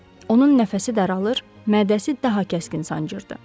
Onun nəfəsi daralır, mədəsi daha kəskin sancırdı.